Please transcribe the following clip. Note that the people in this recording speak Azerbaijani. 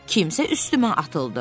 Birdən kimsə üstümə atıldı.